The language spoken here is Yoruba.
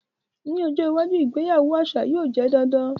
Ni ojo iwaju, ìgbéyàwó aṣa yóò jẹ dandan.